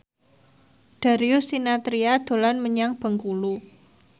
Darius Sinathrya dolan menyang Bengkulu